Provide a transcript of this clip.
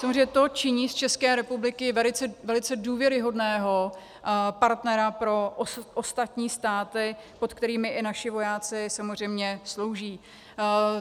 Samozřejmě to činí z České republiky velice důvěryhodného partnera pro ostatní státy, pod kterými i naši vojáci samozřejmě slouží.